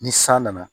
Ni san nana